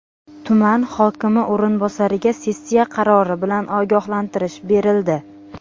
Tuman hokimi o‘rinbosariga sessiya qarori bilan ogohlantirish berildi.